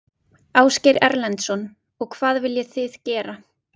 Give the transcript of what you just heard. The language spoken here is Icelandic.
Ásgeir Erlendsson: Og hvað viljið þið gera?